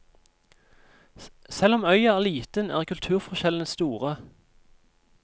Selv om øya er liten er kulturforskjellene store.